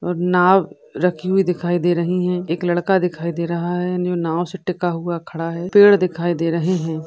और नांव रखी हुई दिखाई दे रही है एक लड़का दिखाई दे रहा है जो नांव से टिका हुवा खड़ा है पेड़ दिखाई दे रहे है।